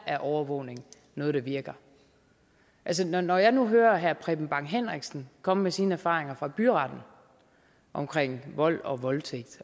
er overvågning noget der virker når når jeg nu hører herre preben bang henriksen komme med sine erfaringer fra byretten omkring vold og voldtægt